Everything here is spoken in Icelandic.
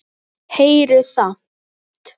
Heyrir samt.